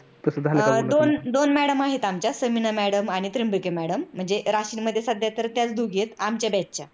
दोन madam आहेत आमच्या समीना madam आणि त्रन्यांबके madam म्हणजे राशीनमध्ये सध्या तर ते दोघीच च आहेत आमच्या batch च्या